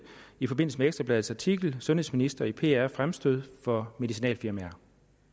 i forbindelse med ekstra bladets artikel sundhedsminister i pr fremstød for medicinalfirmaer